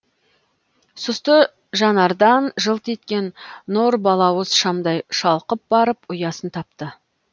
сұсты жанардан жылт еткен нұр балауыз шамдай шалқып барып ұясын тапты